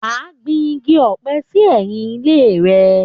Wá gbìn igi ọ̀pẹ sí ẹ̀yìn ile rẹ